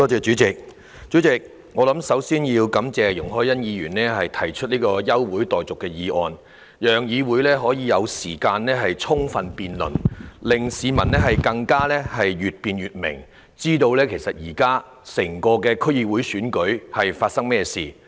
主席，首先，我想感謝容海恩議員提出這項休會待續議案，讓議會有時間充分辯論，令市民可以越辯越明，知道這次區議會選舉的情況。